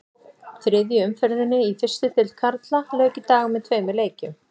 Þriðju umferðinni í fyrstu deild karla lauk í dag með tveimur leikjum.